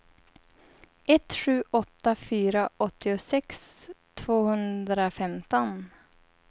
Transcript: ett sju åtta fyra åttiosex tvåhundrafemton